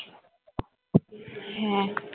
হ্যাঁ